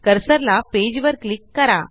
cursor ला page वर click करा